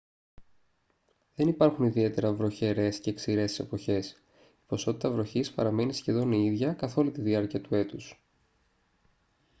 δεν υπάρχουν ιδιαίτερα «βροχερές» και «ξηρές» εποχές: η ποσότητα βροχής παραμένει σχεδόν η ίδια καθ' όλη τη διάρκεια του έτους